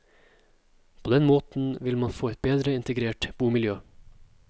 På den måten vil man få et bedre integrert bomiljø.